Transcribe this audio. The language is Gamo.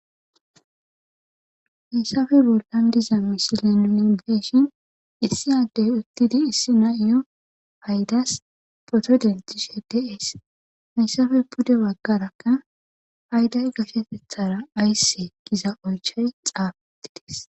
hayssafe bollan diza misile nuni geshin issi addey uttidi issi na7iyo haydas poto deltishe dees hayssafe pude baggarakka hayday gashetethara ayssse giza olchay xaafettides